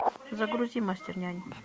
загрузи мастер нянь